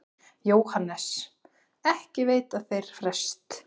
JÓHANNES: Ekki veita þeir frest.